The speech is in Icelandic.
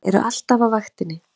Þeir eru alltaf á vaktinni!